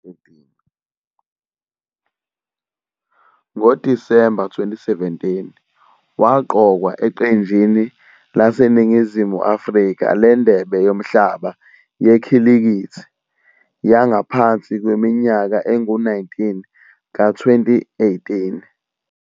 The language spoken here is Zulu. NgoDisemba 2017, waqokwa eqenjini laseNingizimu Afrika leNdebe Yomhlaba Yekhilikithi Yangaphansi Kweminyaka Engu-19 ka -2018.